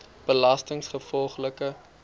belastinggevolglik